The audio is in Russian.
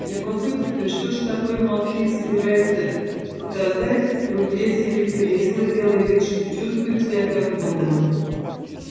любопытствуя что же такое малфей собирается показать друзья сели в кресла делая вид что чувствуют себя как дома